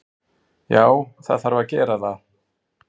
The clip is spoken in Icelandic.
Já, það þarf að gera það.